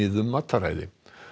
um mataræði